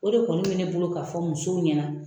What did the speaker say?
O de kɔnI be ne bolo ka fɔ musow ɲɛna.